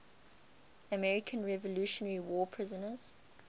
american revolutionary war prisoners